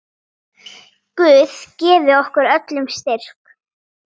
Guð gefi okkur öllum styrk.